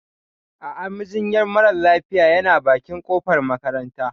A'a, majinyar mara lafiyayana bakin kofar makaranta.